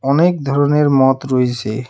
অনেক ধরনের মদ রইছে .